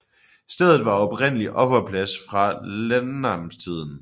Stedet var oprindelig offerplads fra landnamstiden